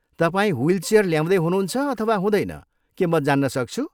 तपाईँ ह्विलचेयर ल्याउँदै हुनुहुन्छ अथवा हुँदैन, के म जान्न सक्छु ?